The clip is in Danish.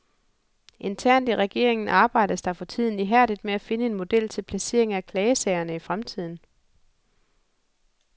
Internt i regeringen arbejdes der for tiden ihærdigt med at finde en model til placering af klagesagerne i fremtiden.